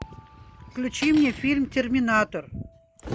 включи мне фильм терминатор